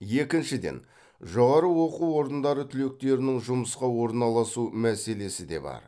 екіншіден жоғары оқу орындары түлектерінің жұмысқа орналасу мәселесі де бар